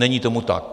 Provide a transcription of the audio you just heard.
Není tomu tak.